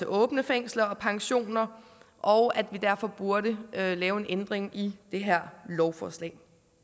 åbne fængsler og pensioner og at vi derfor burde lave en ændring i det her lovforslag